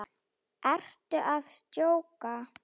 Ertu að djóka?